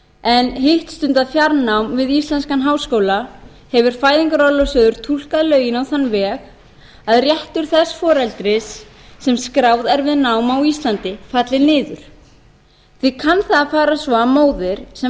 en hitt stundað fjarnám við íslenskan háskóla hefur fæðingarorlofssjóður túlkað lögin á þann veg að réttur þess foreldris sem skráð er við nám á íslandi falli niður því kann það að fara svo að móðir sem